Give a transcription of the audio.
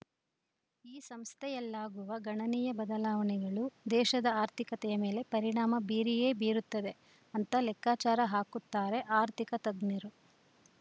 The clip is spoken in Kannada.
ಈ ಸಂಸ್ಥೆಯಲ್ಲಾಗುವ ಗಣನೀಯ ಬದಲಾವಣೆಗಳು ದೇಶದ ಆರ್ಥಿಕತೆಯ ಮೇಲೆ ಪರಿಣಾಮ ಬೀರಿಯೇ ಬೀರುತ್ತದೆ ಅಂತ ಲೆಕ್ಕಾಚಾರ ಹಾಕುತ್ತಾರೆ ಆರ್ಥಿಕ ತಜ್ಞರು